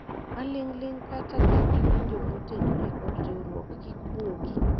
maling'ling kata ka iwinjo motenore kod riwruok kik buogi